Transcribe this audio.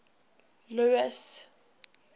louis